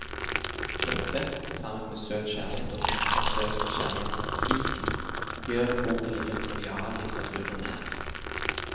Dette, sammen med søt kjærlighet og bittersøt kjærlighetssvik, gjør at boken ligger triviallitteraturen nær.